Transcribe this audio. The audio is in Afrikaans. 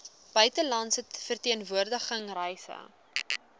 buitelandse verteenwoordiging reise